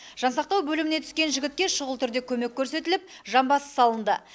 жан сақтау бөліміне түскен жігітке шұғыл түрде көмек көрсетіліп жамбасы салынды